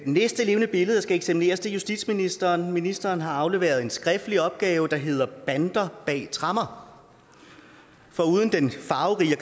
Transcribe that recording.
næste levende billede der skal eksamineres er justitsministeren ministeren har afleveret en skriftlig opgave der hedder bander bag tremmer foruden den farverige